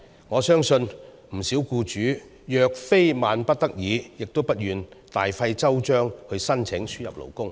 我相信不少僱主若非萬不得已，也不願大費周章申請輸入勞工。